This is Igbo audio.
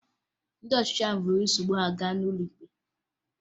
Ndị ọchịchị ahụ buru nsogbu ha gaa n'ụlọ ikpe